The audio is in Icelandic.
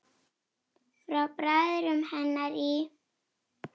Frá bræðrum hennar í